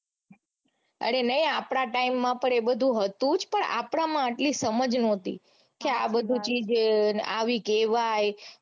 અરે નઈ આપડા time માં પણ એ બધું હતું જ પણ આપડામાં આટલી સમજ નોતી કે આ બધી ચીઝ આવી કેવાય